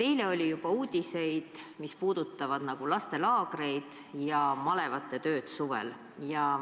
Eile oli juba uudiseid, mis puudutasid lastelaagreid ja malevate tööd suvel.